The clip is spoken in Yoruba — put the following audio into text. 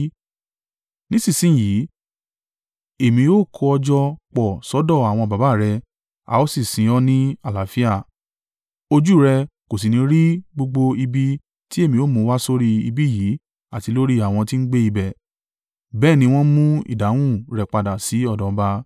Nísinsin yìí, Èmi ó kó ọ jọ pọ̀ sọ́dọ̀ àwọn baba rẹ, a ó sì sin ọ́ ní àlàáfíà. Ojú rẹ kò sì ní rí gbogbo ibi tí èmi ó mú wá sórí ibí yìí àti lórí àwọn tí ń gbé ibẹ̀.’ ” Bẹ́ẹ̀ ni wọ́n mú ìdáhùn rẹ̀ padà sí ọ̀dọ̀ ọba.